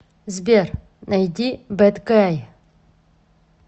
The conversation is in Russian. сбер найди бэд гай